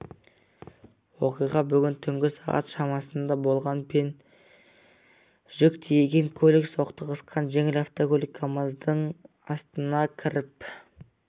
оқиға бүгін түнгі сағат шамасында болған пен жүк тиеген көлік соқтығысқан жеңіл автокөлік камаздың астына кіріп